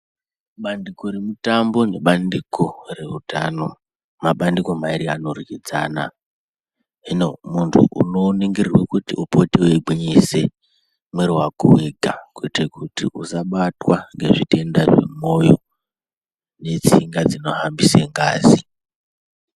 Bandiko remutambo nebandiko reutano mabandiko mairi anoryidzana hino munthu unoningirwe kuti upote weigwinyise mwiri wako wega kuite kuti usabatwa ngezvitenda zvemwoyo netsinga dzinohambise ngazi.